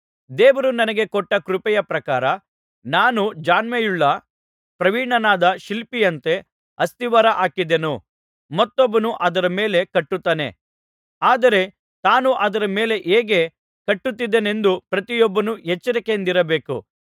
ದೇವರು ನನಗೆ ಕೊಟ್ಟ ಕೃಪೆಯ ಪ್ರಕಾರ ನಾನು ಜಾಣ್ಮೆಯುಳ್ಳ ಪ್ರವೀಣನಾದ ಶಿಲ್ಪಿಯಂತೆ ಅಸ್ತಿವಾರ ಹಾಕಿದೆನು ಮತ್ತೊಬ್ಬನು ಅದರ ಮೇಲೆ ಕಟ್ಟುತ್ತಾನೆ ಆದರೆ ತಾನು ಅದರ ಮೇಲೆ ಹೇಗೆ ಕಟ್ಟುತ್ತಿದ್ದೇನೆಂದು ಪ್ರತಿಯೊಬ್ಬನು ಎಚ್ಚರಿಕೆಯಿಂದಿರಬೇಕು